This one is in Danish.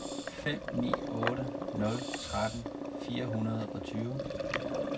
fem ni otte nul tretten fire hundrede og tyve